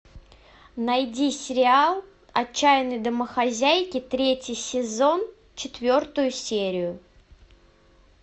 найди сериал отчаянные домохозяйки третий сезон четвертую серию